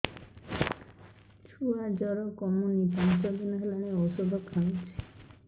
ଛୁଆ ଜର କମୁନି ପାଞ୍ଚ ଦିନ ହେଲାଣି ଔଷଧ ଖାଉଛି